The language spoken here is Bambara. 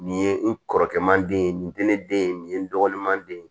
Nin ye n kɔrɔkɛ man den ye nin tɛ ne den ye nin ye n dɔgɔninman den ye